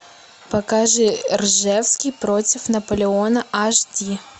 покажи ржевский против наполеона аш ди